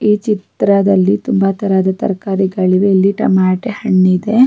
ಈ ಚಿತ್ರದಲ್ಲಿ ತುಂಬ ತರಹದ ತರಕಾರಿಗಳಿವೆ ಇಲ್ಲಿ ಟೊಮಾಟೊ ಹಣ್ಣು ಇದೆ --